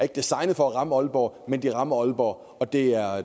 designet for at ramme aalborg men de rammer aalborg og det